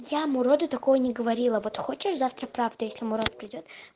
я муроду такое не говорила вот хочешь завтра правда если мурод придёт